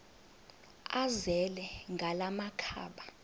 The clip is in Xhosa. azele ngala makhaba